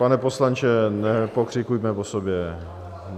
Pane poslanče, nepokřikujme po sobě!